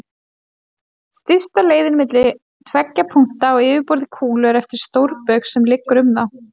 Stysta leiðin milli tveggja punkta á yfirborði kúlu er eftir stórbaug sem liggur um þá.